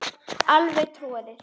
Alveg troðið.